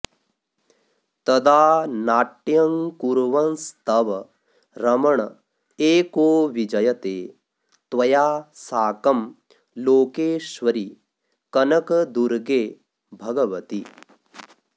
तदा नाट्यङ्कुर्वंस्तव रमण एको विजयते त्वया साकं लोकेश्वरि कनकदुर्गे भगवति